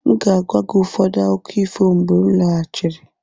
M ga-agwa gị ụfọdụ akụkọ ifo mgbe m lọghachiri.